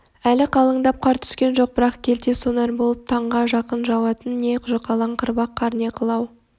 әлі қалыңдап қар түскен жоқ бірақ келте сонар болып таңға жақын жауатын не жұқалаң қырбақ қар не қылау